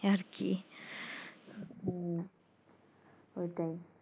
আরকি ওটাই